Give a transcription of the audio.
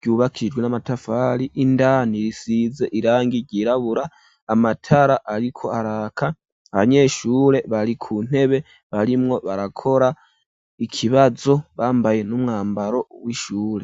ryubakijwe n'amatafari ,indani risize irangi ryirabura ,amatara ariko araka, abanyeshure bari ku ntebe barimwo barakora ikibazo bambaye n'umwambaro w'ishure.